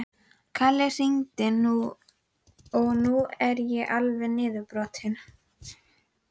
Kalli hringdi og nú er ég alveg niðurbrotinn.